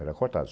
Era cortado.